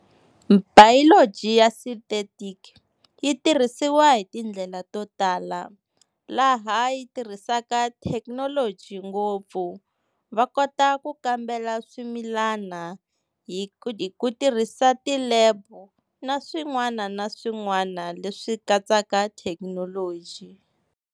Biology ya synthetic yi tirhisiwa hi tindlela to tala laha yi tirhisaka thekinoloji ngopfu, va kota ku kambela swimilana hi ku tirhisa ti-lab na swin'wana na swin'wana leswi katsaka thekinoloji.